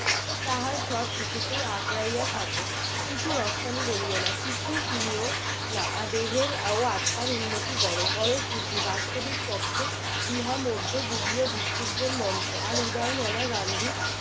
তাহার সব কিছুকেই আকড়াইয়া থাকো কিছু রফতানি করিও না কিছুই কিনিও না দেহের ও আত্মার উন্নতি করো করো শুদ্ধি। বাস্তবিক পক্ষে ইহা মধ্য যুগীয় ভিক্ষুকদের মন্ত্র আর উদার মনা গান্ধী